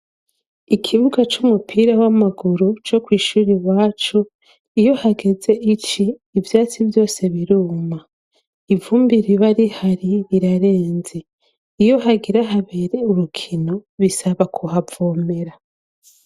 Ikibuga cy'umupira w'amaguru cyo ku ishuri wacu iyo hageze ici ibyatsi byose biruma ivumbi riba ri hari rirarenze iyo hagira habere urukino bisaba kuhavomera .